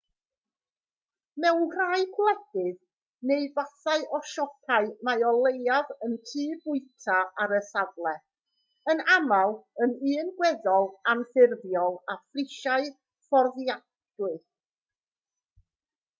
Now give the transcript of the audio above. mewn rhai gwledydd neu fathau o siopau mae o leiaf un tŷ bwyta ar y safle yn aml yn un gweddol anffurfiol â phrisiau fforddiadwy